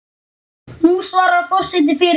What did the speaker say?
Nú svarar forseti fyrir sig.